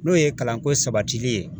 N'o ye kalanko sabatili ye